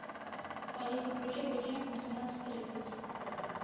алиса включи будильник на семнадцать тридцать